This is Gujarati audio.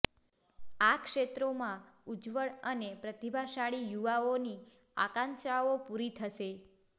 આ ક્ષેત્રોમાં ઉજ્જવળ અને પ્રતિભાશાળી યુવાઓની આકાંક્ષાઓ પૂરી થશે